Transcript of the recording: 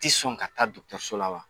tɛ sɔn ka taa dɔgɔtɔrɔso la wa